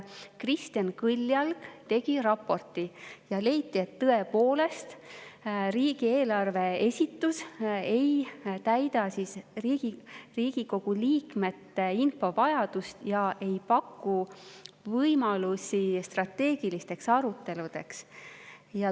Kristjan Kõljalg tegi raporti ja leiti, et tõepoolest riigieelarve esitus ei rahulda riigi Riigikogu liikmete infovajadust ega paku võimalusi strateegilisteks aruteludeks.